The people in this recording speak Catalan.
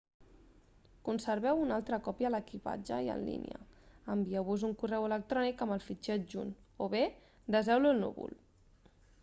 conserveu una altra còpia a l'equipatge i en línia envieu-vos un correu electrònic amb el fitxer adjunt o bé deseu-lo al núvol